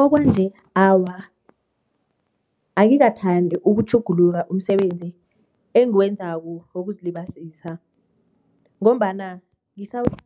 Okwanje, awa. Angikathandi ukutjhuguluka umsebenzi engiwenzako wokuzilibazisa ngombana begodu